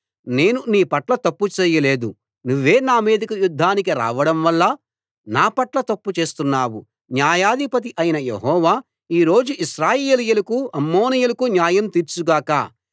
నేను నీ పట్ల తప్పూ చెయ్యలేదు నువ్వే నా మీదికి యుద్ధానికి రావడం వల్ల నా పట్ల తప్పు చేస్తున్నావు న్యాయాధిపతి అయిన యెహోవా ఈ రోజు ఇశ్రాయేలీయులకు అమ్మోనీయులకు న్యాయం తీర్చుగాక